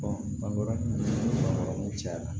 bangebaaw cayara